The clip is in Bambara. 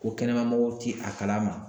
Ko kɛnɛmamɔgɔw ti a kalama